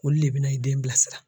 Olu le i bina i den bilasira